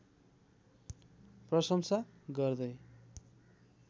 प्रशंसा गर्दै